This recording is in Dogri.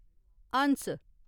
हंस